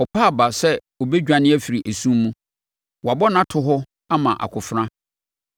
Ɔpa aba sɛ ɔbɛdwane afiri esum mu; wɔabɔ no ato hɔ ama akofena.